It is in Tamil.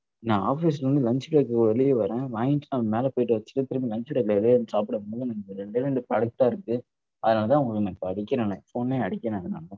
நான் office ல இருந்து lunch break க்கு வெளியேவறேன் வாங்கிட்டு நான் மேல போயிட்டு வச்சுட்டு திரும்பியும் lunch time ல வெளியவந்து சாப்பிடும் போது எனக்கு ரெண்டே ரெண்டு products தான் இருக்குது. அதனால தான் உங்களுக்கு நான் இப்ப அடிக்கிறனே phone னே அடிக்கிறேன் நான்